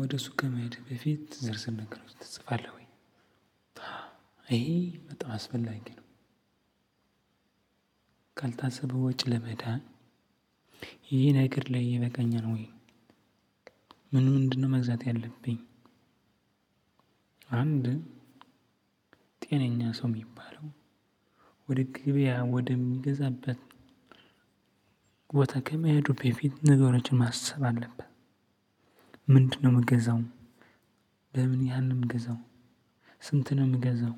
ወደ ሱቅ ከመሄድ በፊት ዝር ዝር ነገር ትጽፋለህ ወይ ይሄ በጣም አስፈላጊ ነው። ካልታሰበ ወጪ ለመዳን ይሄ ነገር ለኔ ይበቃኛል ወይ? ምን ምንድነው መግዛት ያለብኝ? አንድ ጤነኛ ሰው የሚባለው ወደ ገበያ ወደሚገዛበት ቦታ ከመሄዱ በፊት ነገሮችን ማሰብ አለበት። ምንድነው የምገዛው? በምን ያህል ነው የምገዛው ስንት ነው የምገዛው?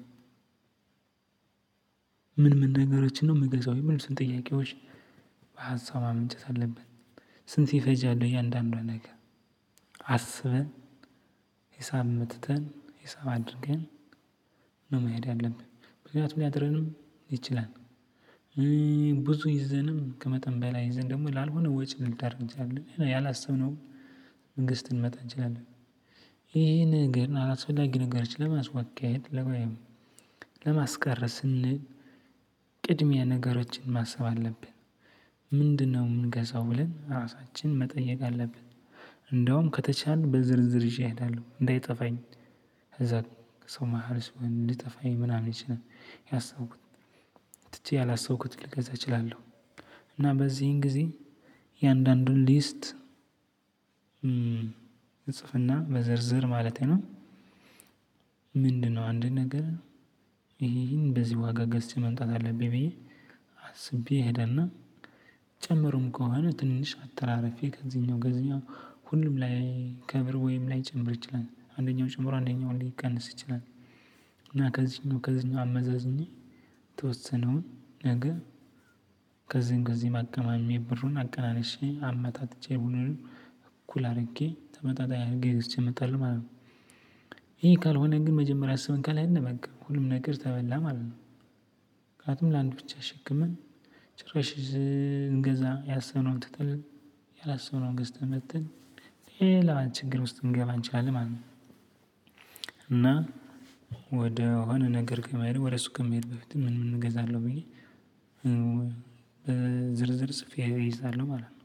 ምን ምን ነገሮችን ነው ምገዛው የሚሉትን ጥያቄዎች በሀሳብ ማመንጨት አለብት። ስንት ይፈጃል እያንዳንዱ ነገር አስበን ሂሳብ አውጥተን ሂሳብ አድርገን ነው መሄድ ያለብን ምክንያቱም ሊያጥረንም ይችላል። ብዙ ይዘንም ከመጠን በላይ ይዘን ደግሞ ላልሆነ ወጪ ልንዳረግ እንችላለን ያላሰብነው ገዝተን ልንመጣ እንችላለን። ይሄ ነገር አላስፈላጊ ነገሮች ለማስወገድ ለ ወይም ለማስቀረት ስንል ቅድሚያ ነገሮችን ማሰብ አለብን። ምንድነው የምንገዛው ብለን ራሳችን መጠየቅ አለብን። እንደውም ከቻልን በዝርዝር ይዤ እሄዳለሁ እንዳይጠፋኝ። ከዛ ሰው መሃል ስሆን ልጠፋኝ ምናምን ይችላል ያሰብኩት ትቼ ያላሰብኩት ልገዛ እችላለሁ። እና በዚህን ጊዜ የአንዳንዱን ሊስት እጽፍና በዝርዝር ማለቴ ነው። ምንድነው አንድ ነገር ይሄ ይሄን በዚ ዋጋ ገዝቼ መምጣት አለብኝ ብዬ አስቤ እሄድና ጨምሮም ከሆነ ትንሽ አተራርፌ ከዚኛው ከዚኛው ሁሉም ላይ ከ ብር ወይም ላይጨምር ይችላል አንደኛው ጨምሮ አንደኛው ሊቀንስ ይችላል። እና ከዚህኛው ከዚህኛው አመዛዝኜ ተወሰነውን ነገ ከዚህም ከዚም አቀማምሜ ብሩን አቀናንሼ አመጣጥቼ ሁሉንም እኩል አድርጌ ተመጣጣኝ አድርጌ ገዝቼ እመጣለሁ ማለት ነው። ይሄ ካልሆነ ግን መጀመሪያ አስበን ካልሄድን በቃ ሁሉም ነገር ተበላ ማለት ነው። ምክንያቱም ለአንድ ብቻ አሸክመን ጭራሽ እንገዛ ያሰብነውን ትተን ያላሰብነውን ገዝተን መጥተን ሌላ ችግር ውስጥ እንገባ እንችላለን ማለት ነው። እና ወደ ሆነ ነገር ከመሄድ ወደ ሱቅ ከመሄድ በፊት ምን ምን እገዛለሁ ብዬ። ዝርዝር ጽፌ እይዛለሁ ማለት ነው።